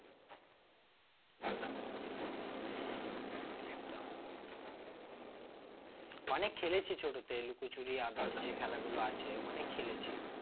হম একদম অনেক খেলেছি ছোটতে লুকোচুরি others যে খেলাগুলো আছে অনেক খেলেছি